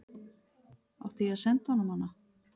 Átti ég að senda honum hana?